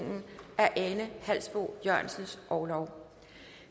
af ane halsboe jørgensens orlov